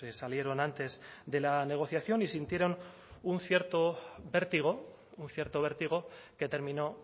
salieron antes de la negociación y sintieron un cierto vértigo un cierto vértigo que terminó